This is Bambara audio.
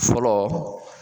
Fɔlɔ